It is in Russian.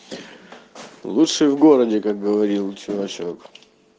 лучший в городе как говорил чувачок